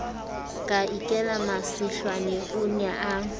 ka ikela masihlwane o nea